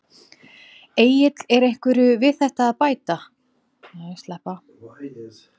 Egill er einhverju við þetta að bæta?